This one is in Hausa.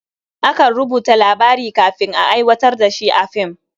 Akan rubuta labari kafin a aiwatar da shi a film.